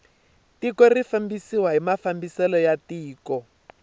tiko ri fambisiwa hi mafambiselo ya tiko